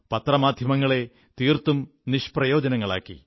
പത്രമാധ്യമങ്ങളെ തീർത്തും നിഷ്പ്രയോജനങ്ങളാക്കി